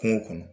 Kungo kɔnɔ